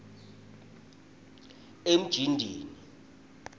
emjindini